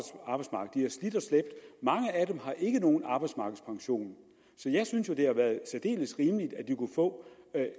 slæbt mange af dem har ikke nogen arbejdsmarkedspension så jeg synes jo det har været særdeles rimeligt at de har få